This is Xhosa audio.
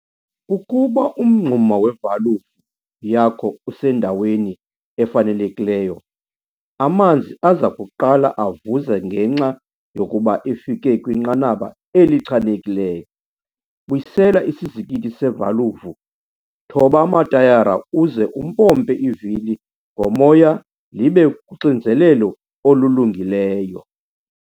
Ukuba umngxuma wevalvu yakho usendaweni efanelekileyo, amanzi aza kuqala avuze ngenxa yokuba efike kwinqanaba elichanekileyo. Buyisela isizikithi sevalvu, thoba amatayara uze umpompe ivili ngomoya libe kuxinzelelo olulungileyo.